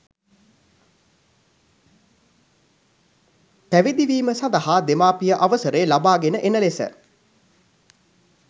පැවිදිවීම සඳහා දෙමාපිය අවසරය ලබාගෙන එන ලෙස